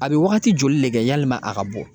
A bɛ waagati joli de kɛ yalima a ka bɔ